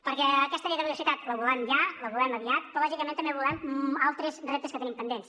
perquè aquesta llei de la biodiversitat la volem ja la volem aviat però lògicament també volem altres reptes que tenim pendents